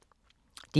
DR K